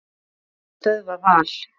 Hverjir ætla að stöðva Val?